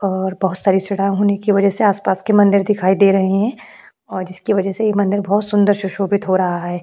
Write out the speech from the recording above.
और बहुत सारी सड़ा होने की वजह से आसपास के मंदिर दिखाई दे रहे हैं और जिसकी वजह से ये मंदिर बहुत सुंदर सुशोभित हो रहा है।